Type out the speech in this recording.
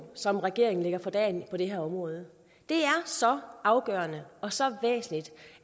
som regeringen lægger for dagen på det her område det er så afgørende og så væsentligt